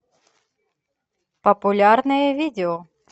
популярные видео